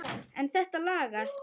En þetta lagast.